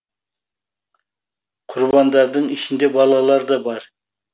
құрбандардың ішінде балалар да бар